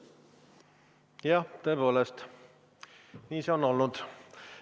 Jah, tõepoolest, nii see on olnud.